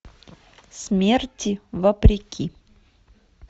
смерти вопреки